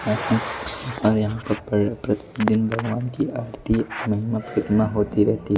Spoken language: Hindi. और यहां पर प्रतिदिन भगवान की आरती महिमा कितना होती रहती--